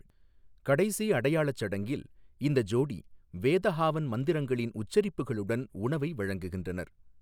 கடைசி அடையாளச் சடங்கில், இந்த ஜோடி வேத ஹாவன் மந்திரங்களின் உச்சரிப்புகளுடன் உணவை வழங்குகின்றனர்.